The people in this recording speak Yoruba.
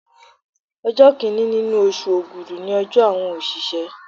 Ọjọ́ Kínní nínú oṣù Ògùdú ni ọjọ́ àwọn òṣìṣẹ́.